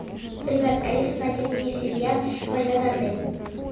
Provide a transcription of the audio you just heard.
привет алиса найди мне сериал война за отель